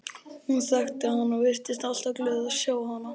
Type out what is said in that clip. Hún þekkti hann og virtist alltaf glöð að sjá hann.